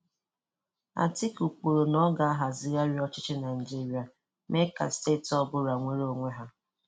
Atiku kwuru na ọ ga-ahazigharị ọchịchị Naịjirịa, mee ka Steeti ọ bụla nweere onwe ya.